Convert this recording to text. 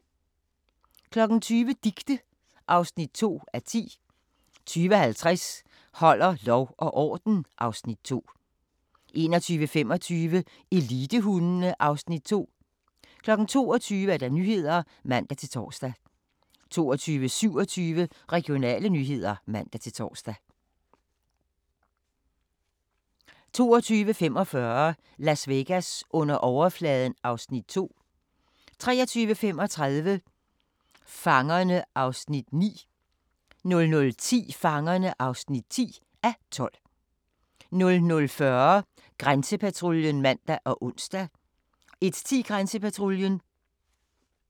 20:00: Dicte (2:10) 20:50: Holder lov og orden (Afs. 2) 21:25: Elitehundene (Afs. 2) 22:00: Nyhederne (man-tor) 22:27: Regionale nyheder (man-tor) 22:45: Las Vegas under overfladen (Afs. 2) 23:35: Fangerne (9:12) 00:10: Fangerne (10:12) 00:40: Grænsepatruljen (man og ons) 01:10: Grænsepatruljen